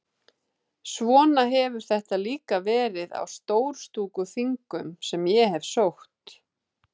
Svona hefur þetta líka verið á Stórstúkuþingum sem ég hef sótt.